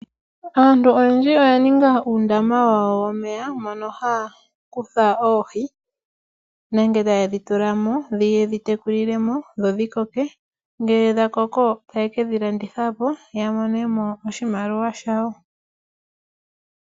Aantu oyendji oya ninga uundama wawo womeya, mo no haya kutha oohi nenge ta ye dhitulamo ye dhi tekulilemo dho dhi koke, ngele dha koko ta ya kedhilandithapo yamone mo oshimaliwa shayo.